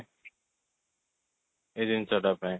ଏଇ ଜିନିଷଟା ପାଇଁ